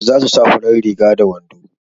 za su sa farar riga da wando